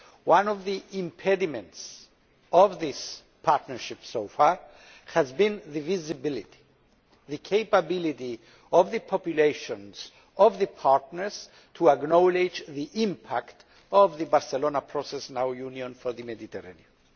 One of the impediments to this partnership so far has been visibility the capability of the populations of the partners to acknowledge the impact of the Barcelona Process and our Union for the Mediterranean.